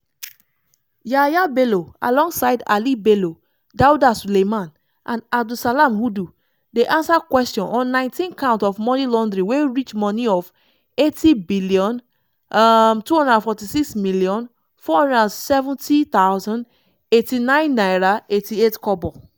yahaya bello alongside ali bello dauda suleiman and abdulsalam hudu dey ansa kwesion on 19-count of moni laundering wey reach moni of n80 um 246 470089.88k.